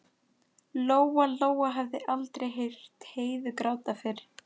Lóa-Lóa hafði aldrei heyrt Heiðu gráta fyrr.